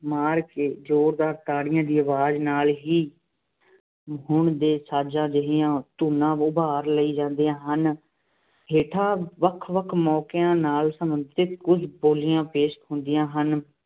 ਮਾਰ ਕੇ ਜੋਰਦਾਰ ਤਾੜੀਆਂ ਦੀ ਅਵਾਜ਼ ਨਾਲ ਹੀ ਹੁਣ ਦੇ ਸਾਜ਼ਾਂ ਜਿਹੀਆਂ ਧੁਨਾਂ ਉਭਾਰ ਲਈਆਂ ਜਾਦੀਂਆਂ ਹਨ। ਹੇਠਾਂ ਵੱਖ-ਵੱਖ ਮੌਕਿਆਂ ਨਾਲ ਸੰਬੰਧਿਤ ਕੁੱਝ ਬੋਲੀਆਂ ਪੇਸ਼ ਹੁੰਦੀਆਂ ਹਨ।